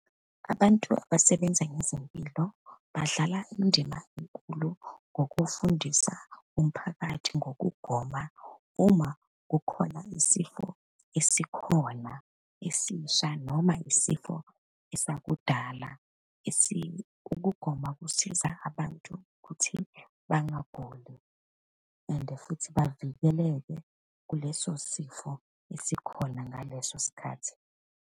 Abantu abasebenza ngezempilo badlala indima enkulu ngokufundisa umphakathi ngokugoma uma kukhona isifo esikhona esisha, noma isifo esakudala . Ukugoma kusiza abantu ukuthi bangaguli and futhi bavikeleke kuleso sifo esikhona ngaleso sikhathi.